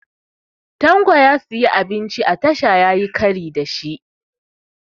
Tanko ya siyi abinci a tasha yayi kari da shi